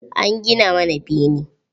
An gina mana bene.